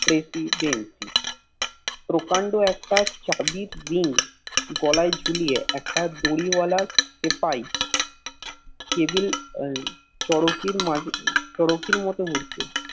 Residensi প্রকাণ্ড একটি চাবির রিং গলায় ঝুলিয়ে একটা দড়ি বালা সেপাই কেবিল চরকির মাঝে চরকির মতো ঘুরছে